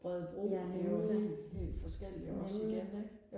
Rødebro det er jo helt helt forskelligt også igen ikke